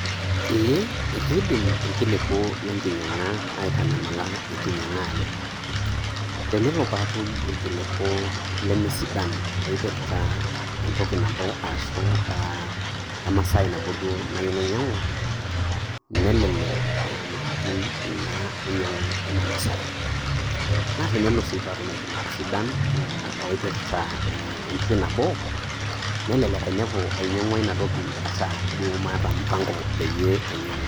Ee ekeidm irkiliku lenginyiang'a aitanyamala eng'inyiang'a aii tenelo paatum irkiliku lemesidan oopirta entoki nabo arashu aa emasai nabo duo nayieu nainyiang'u nelelek aamiriki Ina ainyiang'u ina Masaai. Naa tenelo sii natum irkiliku sidan oopirta entoki nabo nenelek ainepu ainyiang'ua Ina toki ata duo maata imp'ango painyiang'u.